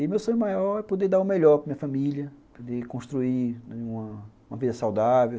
E meu sonho maior é poder dar o melhor para minha família, poder construir uma vida saudável.